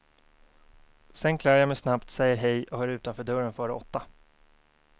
Sedan klär jag mig snabbt, säger hej och är utanför dörren före åtta.